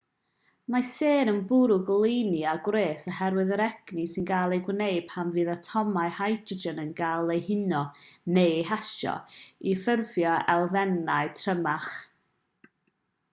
mae sêr yn bwrw goleuni a gwres oherwydd yr egni sy'n cael ei wneud pan fydd atomau hydrogen yn cael eu huno neu eu hasio i ffurfio elfennau trymach